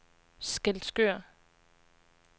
Skælskør